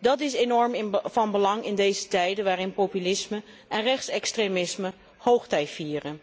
Dat is enorm van belang in deze tijden waarin populisme en rechtsextremisme hoogtij vieren.